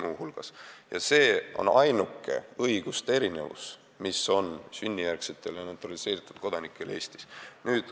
Muuhulgas, ka meil on nii ja see on Eestis ainuke õiguste erinevus sünnijärgsete ja naturaliseeritud kodanike vahel.